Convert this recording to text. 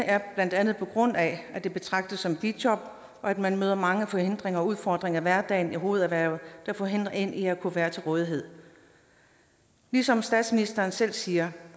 er blandt andet på grund af at det betragtes som et bijob og at man møder mange forhindringer og udfordringer i hverdagen i hovederhvervet der forhindrer en i at kunne være til rådighed ligesom statsministeren selv siger